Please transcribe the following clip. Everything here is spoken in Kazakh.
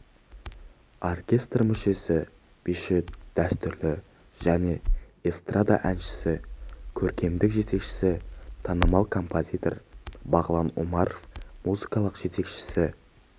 оркестр мүшесі биші дәстүрлі және эстрада әншісі көркемдік жетекшісі танымал композитор бағлан омаров музыкалық жетекшісі